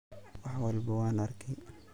Wax walbo wan arkey.